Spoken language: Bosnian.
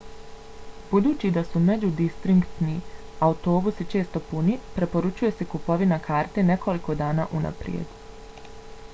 budući da su međudistriktni autobusi često puni preporučuje se kupovina karte nekoliko dana unaprijed